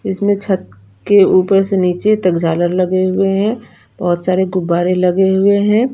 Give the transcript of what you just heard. इसमें छत के ऊपर से निचे तक झालर लगे हुए है बोहोत सारे गुब्बारे लगे हुए है।